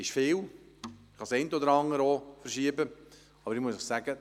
Man kann wirklich das eine oder andere verschieben, aber ich muss Ihnen sagen: